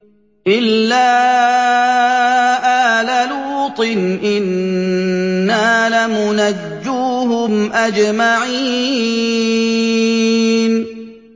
إِلَّا آلَ لُوطٍ إِنَّا لَمُنَجُّوهُمْ أَجْمَعِينَ